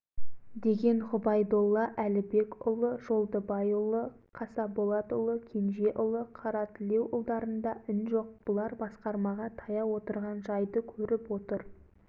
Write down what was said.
кейбіреулері өй қарағым жанша-ай қадіріңді білмейміз-ау саған да кейбіреулер сөйлейді-ау деді жанша отырды манағы ақша салығын